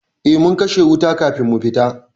Eh mun kashe wuta kafin mu fita.